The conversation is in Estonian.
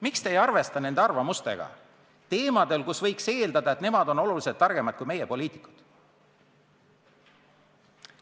Miks te ei arvesta nende arvamusega teemadel, mille puhul võiks eeldada, et nemad on oluliselt targemad kui meie, poliitikud?